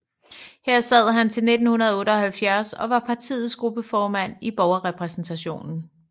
Her sad han til 1978 og var partiets gruppeformand i Borgerrepræsentationen